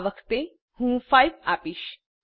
આ વખતે હું 5 આપીશ